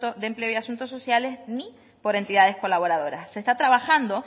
de empleo y asuntos sociales ni por entidades colaboradoras se está trabajando